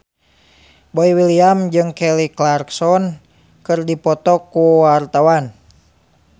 Boy William jeung Kelly Clarkson keur dipoto ku wartawan